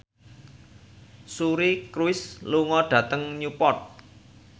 Suri Cruise lunga dhateng Newport